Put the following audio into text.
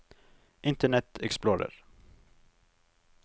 internet explorer